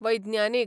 वैज्ञानीक